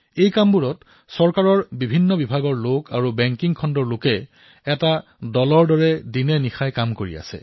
এই কামসমূহত চৰকাৰৰ ভিন্ন ভিন্ন বিভাগৰ লোক বেংকিং খণ্ডৰ লোক দলৱদ্ধভাৱে দিনেৰাতিয়ে কাম কৰি আছে